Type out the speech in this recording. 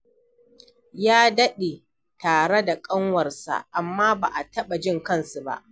Ya daɗe tare da ƙanwarsa, amma ba a taɓa jin kansu ba.